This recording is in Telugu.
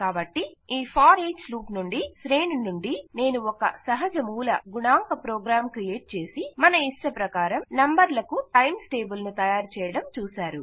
కాబట్టి ఈ ఫోరిచ్ లూప్ నుండి శ్రేణి నుండి నేను ఒక సహజ మూల గుణాంక ప్రోగ్రాం క్రియేట్ చేసి మనయిష్టప్రకారం నంబర్లకు టైమ్స్ టేబుల్ ను తయారు చేయడం చూసారు